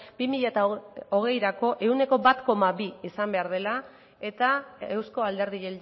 bi mila hogeirako ehuneko bat koma bi izan behar dela eta euzko alderdi